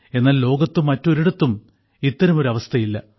എന്നാൽ ലോകത്ത് മറ്റൊരിടത്തും ഇത്തരമൊരു അവസ്ഥയില്ല